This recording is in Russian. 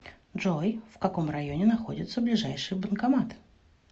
джой в каком районе находится ближайший банкомат